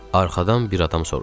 Arxadan bir adam soruşdu.